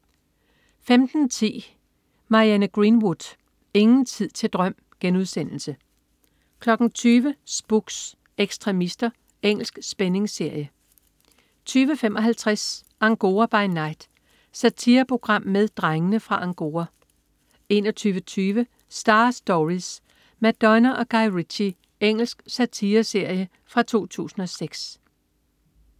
15.10 Marianne Greenwood. Ingen tid til drøm* 20.00 Spooks: Ekstremister. Engelsk spændingsserie 20.55 Angora by night. Satireprogram med "Drengene fra Angora" 21.20 Star Stories: Madonna og Guy Ritchie. Engelsk satireserie fra 2006